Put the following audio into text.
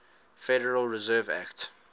federal reserve act